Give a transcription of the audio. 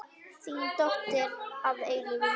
Þín dóttir að eilífu, Marta.